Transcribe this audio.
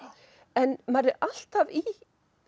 en maður er alltaf í